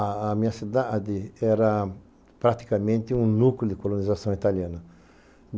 A a minha cidade era praticamente um núcleo de colonização italiana.